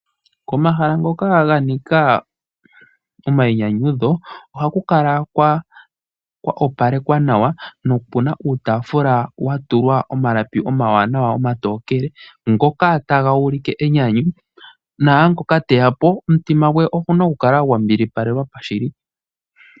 Omahala ngoka ganika omainyanyudho , ohaku kala kwa opalekwa nawa nopuna uutaafula watulwa omalapi omawanawa omatokele ngoka taga ulike enyanyu naangoka teya po omutima gwe ohagu kala gwambilipalekwa.